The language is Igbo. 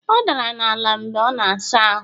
Ọ dara n'ala mgbe ọ na-asa ahụ